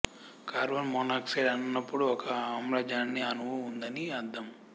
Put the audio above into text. carbon monoxide అన్నప్పుడు ఒక ఆమ్లజని అణువు ఉందని అర్థం